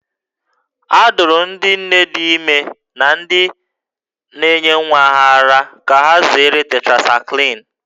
A dụrụ ndị nne dị ime na ndị na-enye nwa ara ka ha zere tetracaịklin